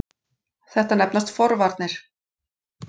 Þetta nefnast forvarnir.